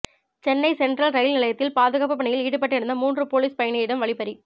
Chennai central rail நிலையத்தில் பாதுகாப்புப் பணியில் ஈடுபட்டிருந்த மூன்று போலீசார் பயணியிடம் வழிப்பறி